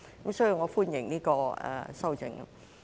因此，我歡迎這項修正案。